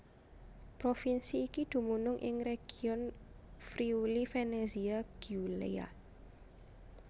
Provinsi iki dumunung ing region Friuli Venezia Giulia